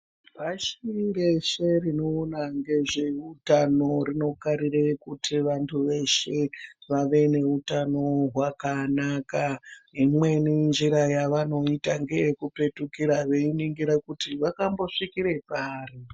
Bazi reshe rinoona ngezveutano rinokarire kuti vantu veshe vave neutano wakanaka imweni njira yavanoita ngeyekupetukira veiningira kuti vakambosvikire pari.